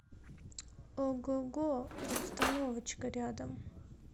огого обстановочка рядом